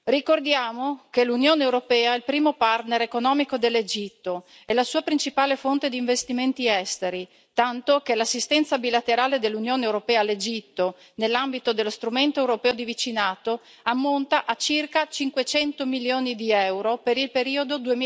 Ricordiamo che l'Unione europea è il primo partner economico dell'Egitto e la sua principale fonte di investimenti esteri, tanto che l'assistenza bilaterale dell'Unione europea all'Egitto, nell'ambito dello strumento europeo di vicinato, ammonta a circa 500 milioni di euro per il periodo